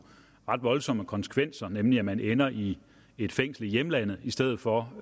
ret voldsomme konsekvenser nemlig at man ender i et fængsel i hjemlandet i stedet for